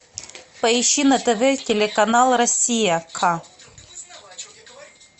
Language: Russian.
поищи на тв телеканал россия ка